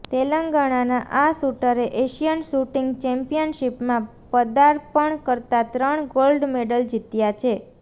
તેલંગાણાના આ શૂટરે Asian shooting ચેમ્પિયનશિપમાં પદાર્પણ કરતા ત્રણ ગોલ્ડ મેડલ જીત્યા છે